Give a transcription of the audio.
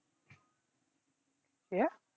হ্যাঁ